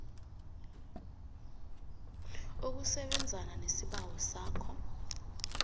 ukusebenzana nesibawo sakho